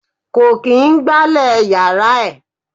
Kò kín gbálè yàrá ẹ̀.